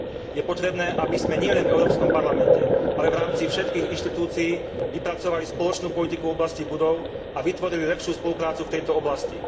Je potrebné, aby sme nielen v Európskom parlamente, ale v rámci všetkých inštitúcií vypracovali spoločnú politiku v oblasti budov a vytvorili lepšiu spoluprácu v tejto oblasti.